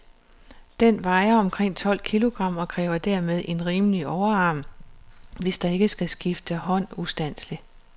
Den vejer omkring tolv kilogram, og kræver dermed en rimelig overarm, hvis der ikke skal skifte hånd ustandseligt.